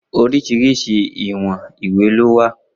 Oríṣìíríṣìí ìwọ̀n ìwé ló wà.